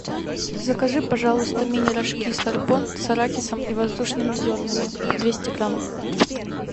закажи пожалуйста мини рожки сорбон с арахисом и воздушными зернами двести грамм